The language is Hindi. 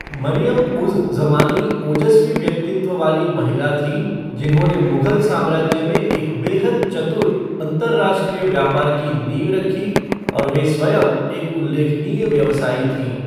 मरियम उज़ ज़मानी ओजस्वी व्यक्तित्व वाली महिला थीं जिन्होंने मुगल साम्राज्य में एक बेहद चतुर अंतर्राष्ट्रीय व्यापार की नींव रखी और वह स्वयं एक उल्लेखनीय व्यवसायी थीं।